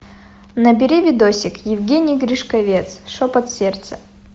набери видосик евгений гришковец шепот сердца